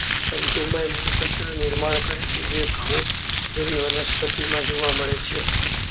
તંતુમય મૂળ તંત્ર નિર્માણ કરે છે જે ઘઉં જેવી વનસ્પતિ માં જોવા મળે છે.